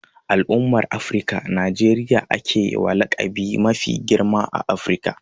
A al'umman Afirika, Najeriya a ke wa laƙabi mafi girma a Afirka.